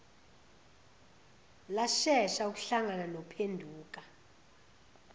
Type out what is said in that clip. lashesha ukuhlangana nophenduka